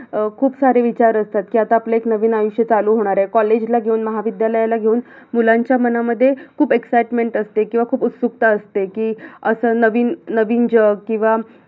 अं खूप सारे विचार असतात कि आता आपल एक नवीन आयुष्य चालू होणार आहे, college ला घेऊन, महाविद्यालयाला घेऊन मुलांच्या मनामध्ये खूप exicetement असेत किंवा खूप उत्सुकता असेत कि अस नवीन नवीन जग किवा